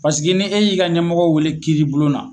paseke ne y'i ka ɲɛmɔgɔ wele kiiri bulon na